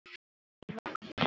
Eva: Af hverju?